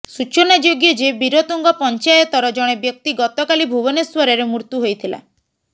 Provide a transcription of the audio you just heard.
ସୂଚନାଯୋଗ୍ୟ ଯେ ବୀରତୁଙ୍ଗ ପଞ୍ଚାୟତର ଜଣେ ବ୍ୟକ୍ତି ଗତକାଲି ଭୁବନେଶ୍ବରରେ ମୃତ୍ୟୁ ହୋଇଥିଲା